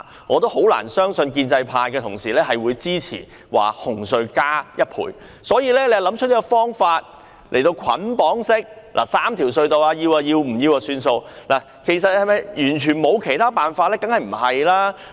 我很難相信建制派同事會支持紅隧加價1倍，所以政府便想出這個捆綁3條隧道的方案，議員接受便接受，不然便拉倒。